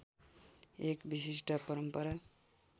एक विशिष्ट परम्परा